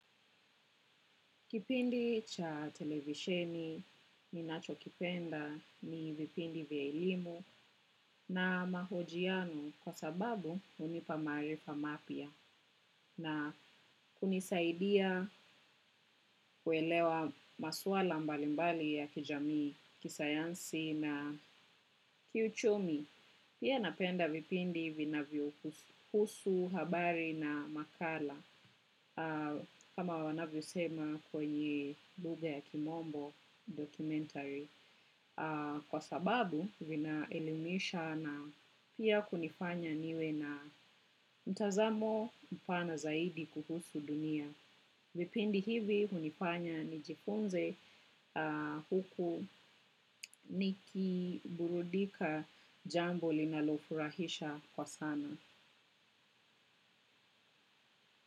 Kipindi cha televisheni ninachokipenda ni vipindi vya elimu na mahojiano kwa sababu unipa maarifa mapya na kunisaidia kuelewa maswala mbalimbali ya kijamii, kisayansi na kiuchumi. Pia napenda vipindi vinavyohusu habari na makala kama wanavyo sema kwenye lugha ya kimombo documentary. Kwa sababu vinaelimisha na pia kunifanya niwe na mtazamo mpana zaidi kuhusu dunia. Vipindi hivi unifanya nijifunze huku nikiburudika jambo linalo furahisha kwa sana.